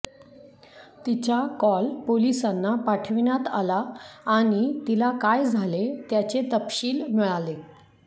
तिचा कॉल पोलिसांना पाठवण्यात आला आणि तिला काय झाले त्याचे तपशील मिळाले